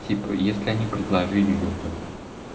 типа если они предложили людям